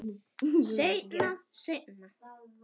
Seinna, seinna.